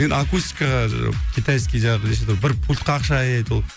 енді акустикаға китайский жаңағы неше түрлі бір пультка ақша аяйды ол